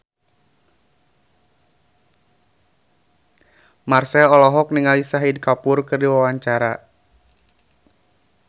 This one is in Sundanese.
Marchell olohok ningali Shahid Kapoor keur diwawancara